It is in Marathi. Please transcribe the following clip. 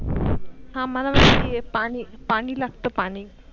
हा मला माहित आहे पानी लागतो पानी.